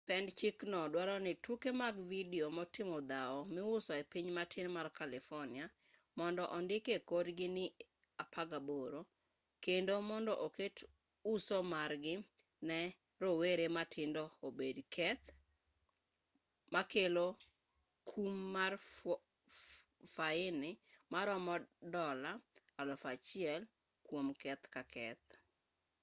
pend chikno duaro ni tuke mag vidio motimo dhao miuso e piny matin mar carlifornia mondo ondiki e korgi ni 18 kendo mondo oket uso margi ne rowere matindo obed keth makelo kum mar fwai maromo dola $1000 kuom keth ka keth